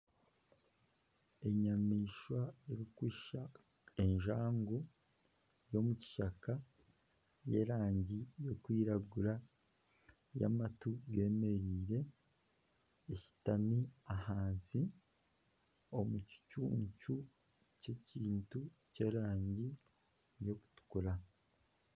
Enyamaishwa erikushushana enjangu y'omukishaka, y'erangi erikwiragura y'amatu geemereire eshutami ahansi omu kicucu ky'ekintu ky'erangi y'okutukura